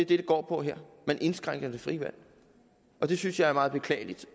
det går på her man indskrænker det frie valg og det synes jeg er meget beklageligt